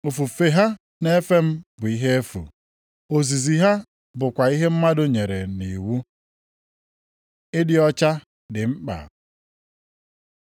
Ofufe ha na-efe m bụ ihe efu, + 15:9 Ịkpọ isiala ha bụ ihe efu. ozizi ha bụkwa ihe mmadụ nyere nʼiwu.’ + 15:9 \+xt Aịz 29:13\+xt* ” Ịdị ọcha dị mkpa